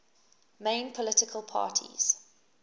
main political parties